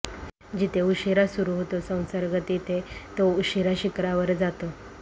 जिथे उशीरा सुरु होतो संसर्ग तिथे तो उशीरा शिखरावर जातो